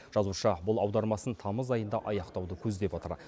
жазушы бұл аудармасын тамыз айында аяқтауды көздеп отыр